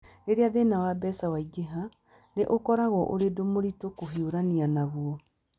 "Rĩrĩa thĩna wa mbeca ũingĩha, nĩ ũkoragwo ũrĩ ũndũ mũritũ kũhiũrania naguo.